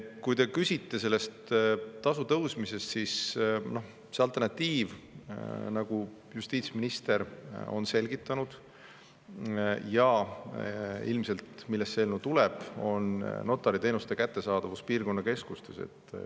Kui te küsite selle tasu tõstmise kohta, siis alternatiiv, nagu justiitsminister on selgitanud – ja ilmselt sellest see eelnõu tulebki – on notariteenuste kättesaadavus piirkonnakeskustes.